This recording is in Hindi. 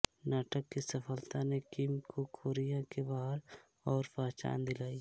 नाटक की सफलता ने किम को कोरिया के बाहर और पहचान दिलाई